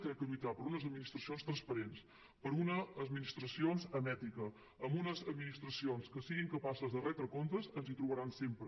crec que lluitar per unes administracions transparents per unes administracions amb ètica per unes administracions que siguin capaces de retre comptes ens hi trobaran sempre